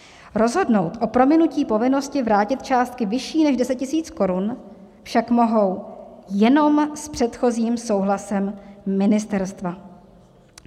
Rozhodnout o prominutí povinnosti vrátit částky vyšší než 10 000 Kč však mohou jen s předchozím souhlasem ministerstva."